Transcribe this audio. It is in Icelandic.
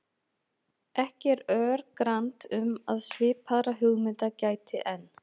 Ekki er örgrannt um að svipaðra hugmynda gæti enn.